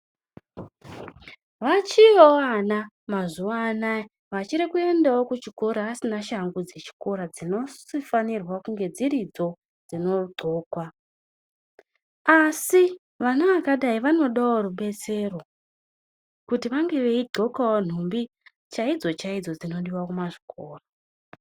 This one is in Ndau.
Vachiriyowo ana mazuvanaya vachirikunda kuchikora vasina shangu dzechikora, dzinofanirwa kunge dziridzo dzinodhlokwa, asi vana vakadai vanodawo rudetsero, kuti vange veidhlokawo nhumbi chaidzo-chaidzo dzinodiwa kuchikora.